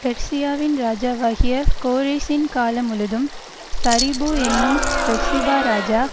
பெர்சியாவின் ராஜாவாகிய கோரேசின் காலமுழுதும் தரியு என்னும் பெர்சியா ராஜா